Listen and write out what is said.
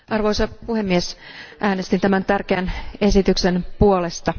Arvoisa puhemies, äänestin tämän tärkeän esityksen puolesta.